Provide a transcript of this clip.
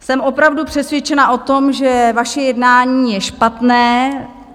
Jsem opravdu přesvědčena o tom, že vaše jednání je špatné.